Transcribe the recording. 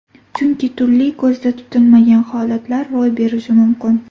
Chunki turli ko‘zda tutilmagan holatlar ro‘y berishi mumkin.